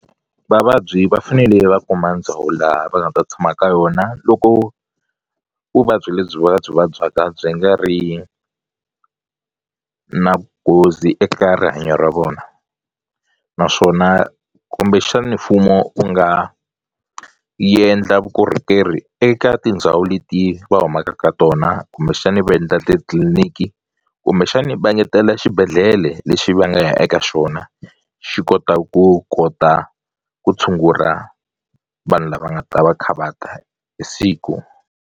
Vavabyi va fanele va kuma ndhawu laha va nga ta tshama ka yona loko vuvabyi lebyi va byi vabyaka byi nga ri na nghozi eka rihanyo ra vona naswona kumbexani mfumo wu nga yendla vukorhokeri eka tindhawu leti va humaka ka tona kumbexani va endla titliliniki kumbexani va ngetela xibedhlele lexi va nga ya eka xona xi kota ku kota ku tshungula vanhu lava nga ta va kha va ta siku.